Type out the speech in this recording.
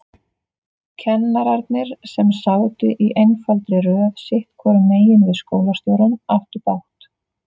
Kennararnir, sem sátu í einfaldri röð sitthvoru megin við skólastjórann, áttu bágt.